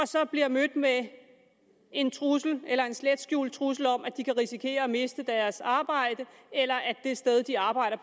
så bliver mødt med en trussel eller en slet skjult trussel om at de kan risikere at miste deres arbejde eller at det sted de arbejder